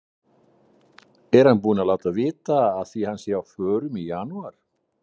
Er hann búinn að láta vita af því að hann sé á förum í janúar?